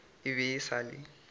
e be e sa le